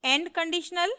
end conditional